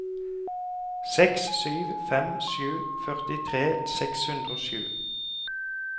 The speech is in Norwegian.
seks sju fem sju førtitre seks hundre og sju